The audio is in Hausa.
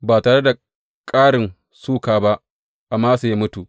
Ba tare da ƙarin suƙa ba, Amasa ya mutu.